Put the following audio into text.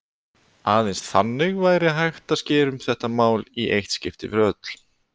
Aðeins þannig væri hægt að skera úr um þetta mál í eitt skipti fyrir öll.